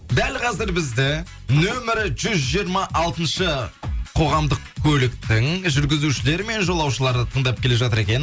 дәл қазір бізді нөмірі жүз жиырма алтыншы қоғамдық көліктің жүргізушілері мен жолаушылары тыңдап келе жатыр екен